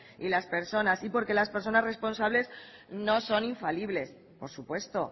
y las personas y porque las personas responsables no son infalibles por supuesto